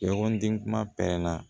Ɲɔgɔn den kuma pɛrɛnna